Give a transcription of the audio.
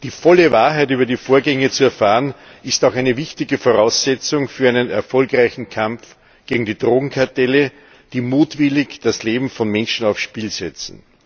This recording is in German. Die volle Wahrheit über die Vorgänge zu erfahren, ist auch eine wichtige Voraussetzung für einen erfolgreichen Kampf gegen die Drogenkartelle, die mutwillig das Leben von Menschen aufs Spiel setzen.